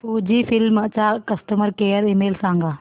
Fujifilm चा customer care email सांगा